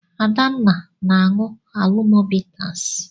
Adanna na-aṅụ Alomo bitas.